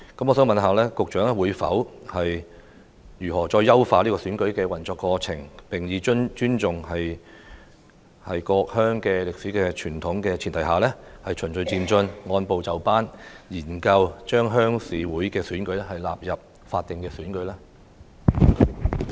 我想問局長會如何優化選舉過程，並在尊重各鄉歷史傳統的前提下，以循序漸進及按部就班的方式，研究把鄉事會的選舉納入法定選舉的規管？